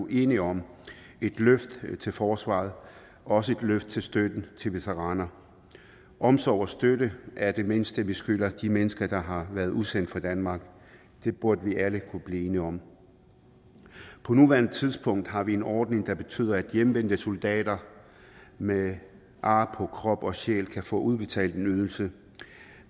enige om et løft til forsvaret og også et løft af støtten til veteraner omsorg og støtte er det mindste vi skylder de mennesker der har været udsendt for danmark det burde vi alle kunne blive enige om på nuværende tidspunkt har vi en ordning der betyder at hjemvendte soldater med ar på krop og sjæl kan få udbetalt en ydelse